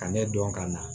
Ka ne dɔn ka na